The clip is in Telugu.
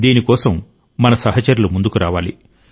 దీని కోసం మన సహచరులు ముందుకు రావాలి